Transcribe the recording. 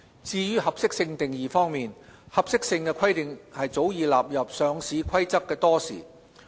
至於合適性定義方面，合適性規定早已納入《上市規則》多時。